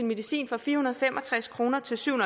medicin fra fire hundrede og fem og tres kroner til syv